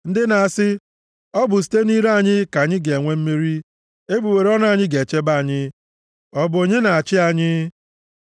Ndị na-asị, “Ọ bụ site nʼire anyị ka anyị ga-enwe mmeri; egbugbere ọnụ anyị ga-echebe anyị, ọ bụ onye na-achị anyị?”